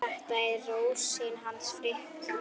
Þetta er Rósin hans Fikka.